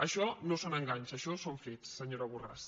això no són enganys això són fets senyora borràs